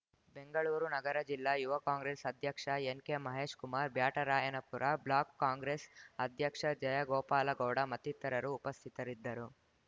ಬೆಂಗಳೂರು ನಗರ ಜಿಲ್ಲಾ ಯುವ ಕಾಂಗ್ರೆಸ್‌ ಅಧ್ಯಕ್ಷ ಎನ್‌ಕೆಮಹೇಶ್‌ ಕುಮಾರ್ ಬ್ಯಾಟರಾಯನಪುರ ಬ್ಲಾಕ್‌ ಕಾಂಗ್ರೆಸ್‌ ಅಧ್ಯಕ್ಷ ಜಯಗೋಪಾಲಗೌಡ ಮತ್ತಿತರರು ಉಪಸ್ಥಿತರಿದ್ದರು